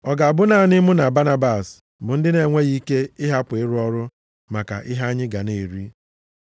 Ọ ga-abụ naanị mụ na Banabas bụ ndị na-enweghị ike ịhapụ ịrụ ọrụ maka ihe anyị ga na-eri?